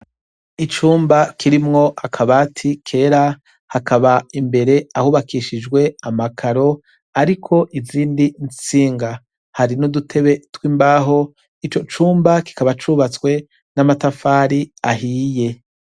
Icumba kirimwo akabati kera hakaba imbere ahubakishijwe amakaro hariko izindi ntsinga n' udutebe tw' imbaho ico cumba kikaba cubatswe n' amatafari ahiye.